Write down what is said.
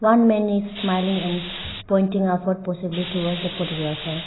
one man is smiling and pointing upward possibly towards the photographer.